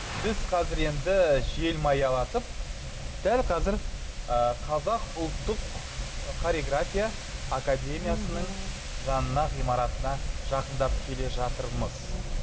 біз қазір енді желмаялатып дәл қазір ы қазақ ұлттық хореография академиясының жанына ғимаратына жақындап келе жатырмыз